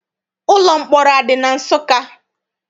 Ụlọ mkpọrọ adị na Nsụka?